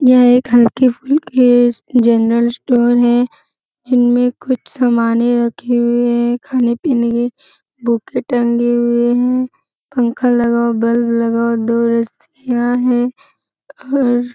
यह एक हल्की-फुल्की जनरल स्टोर है इनमे कुछ सामाने रखी हुई है खाने-पीने की बूके टंगी हुई है पंखा लगा हुआ बल्ब लगा हुआ और दो रस्सियां है और --